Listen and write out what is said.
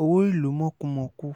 owó ìlú mọ̀kùmọ̀kù